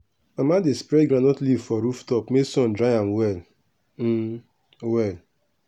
mama dey spread groundnut leaf for roof top make sun dry am well um well.